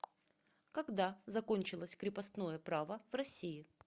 когда закончилось крепостное право в россии